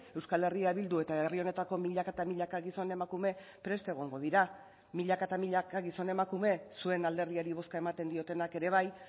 euskal herria bildu eta herri honetako milaka eta milaka gizon emakume prest egongo dira milaka eta milaka gizon emakume zuen alderdiari bozka ematen diotenak ere bai